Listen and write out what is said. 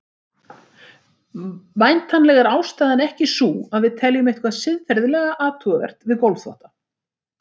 Væntanlega er ástæðan ekki sú að við teljum eitthvað siðferðilega athugavert við gólfþvotta.